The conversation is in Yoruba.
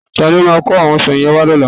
Ta ni ó máa kó àwọn ọsàn yẹn wá lọ́la?